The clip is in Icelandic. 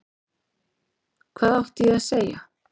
Hvað átti ég að segja?